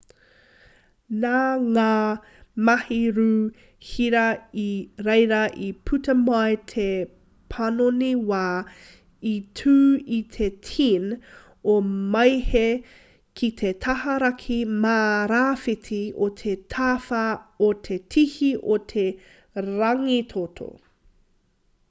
nā ngā mahi rū hira i reira i puta mai te panoni wā i tū i te 10 o māehe ki te taha raki mā rāwhiti o te tawhā o te tihi o te rangitoto